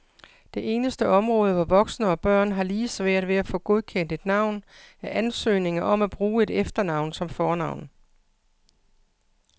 Det eneste område, hvor voksne og børn har lige svært ved at få godkendt et navn, er ansøgninger om at bruge et efternavn som fornavn.